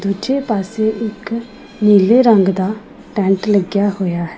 ਦੂਜੇ ਪਾਸੇ ਇੱਕ ਨੀਲੇ ਰੰਗ ਦਾ ਟੈਂਟ ਲੱਗਿਆ ਹੋਇਆ ਹੈ।